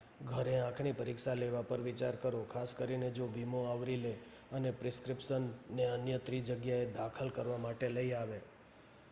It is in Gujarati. ઘરે આંખની પરીક્ષા લેવા પર વિચાર કરો ખાસ કરીને જો વીમો આવરી લે અને પ્રિસ્ક્રિપ્શન ને અન્ય ત્રિજગ્યાએ દાખલ કરવા માટે લઈ આવે